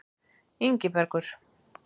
Ingibergur